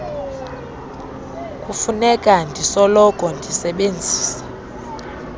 kufuneka ndisoloko ndisebenzisa